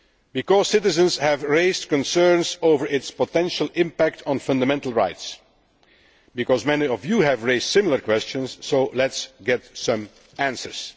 Because citizens have raised concerns over its potential impact on fundamental rights, because many of you have raised similar questions so let us get some answers.